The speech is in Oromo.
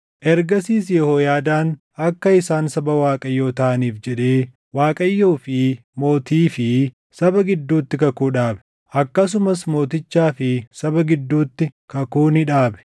Ergasiis Yehooyaadaan akka isaan saba Waaqayyoo taʼaniif jedhee Waaqayyoo fi mootii fi saba gidduutti kakuu dhaabe. Akkasumas mootichaa fi saba gidduutti kakuu ni dhaabe.